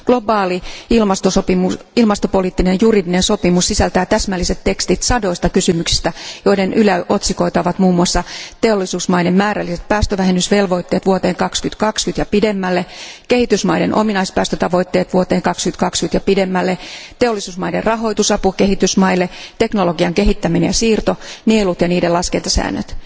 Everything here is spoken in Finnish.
Globaali ilmastopoliittinen juridinen sopimus sisältää täsmälliset tekstit sadoista kysymyksistä, joiden yläotsikoita ovat muun muassa teollisuusmaiden määrälliset päästövähennysvelvoitteet vuoteen 2020 ja pidemmälle, kehitysmaiden ominaispäästötavoitteet vuoteen 2020 ja pidemmälle, teollisuusmaiden rahoitusapu kehitysmaille, teknologian kehittäminen ja siirto, nielut ja niiden laskentasäännöt.